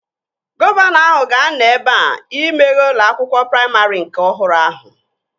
Gọvanọ ahụ ga-anọ ebea imeghe ụlọ akwụkwọ praimarị nke ọhụrụ ahụ